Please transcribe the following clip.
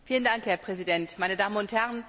Herr Präsident, meine Damen und Herren!